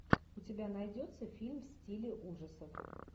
у тебя найдется фильм в стиле ужасов